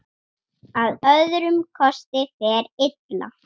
Þú lagðir lífið þannig upp.